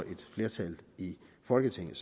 et flertal i folketinget